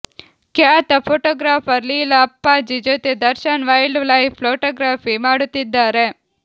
ಖ್ಯಾತ ಫೋಟೋಗ್ರಾಫರ್ ಲೀಲಾ ಅಪ್ಪಾಜಿ ಜೊತೆ Darshan wild life photography ಮಾಡುತ್ತಿದ್ದಾರೆ